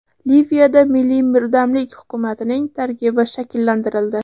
Liviyada milliy birdamlik hukumatining tarkibi shakllantirildi.